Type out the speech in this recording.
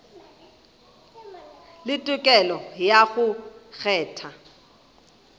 le tokelo ya go kgetha